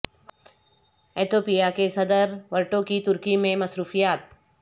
Ethiopia کے صدر Wirtu کی ترکی میں مصروفیات